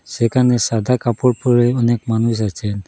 সেখানে সাদা কাপড় পরে অনেক মানুষ আছে।